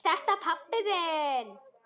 Er þetta pabbi þinn?